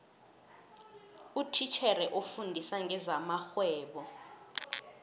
utitjhere ofundisa ngezamarhwebo